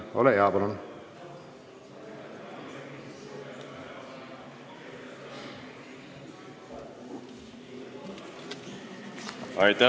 Ole hea!